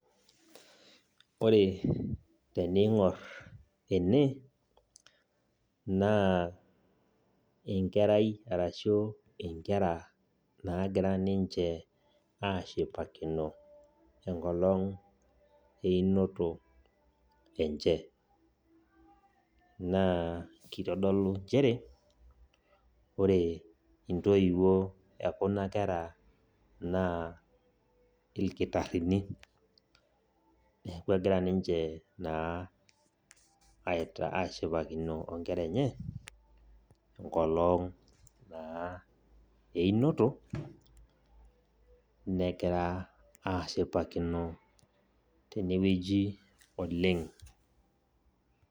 Eepi kaidim naaji atolimu ajo kainyoo nagira aasa. Tenigor naa kulo tunganak naa iltunganak ootishipate oleng. Iltunganak kulo oonyorr empira. Ore kulo kijanani negira niche aashipakino enkisulata naisulutua ina team enye naji. Niaku ninye naloito dukuya naa sidai oleng ena toorbarnot amu keyau enchipai neisulaki esulutua ninche.